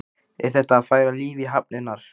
Er þetta að færa líf í hafnirnar?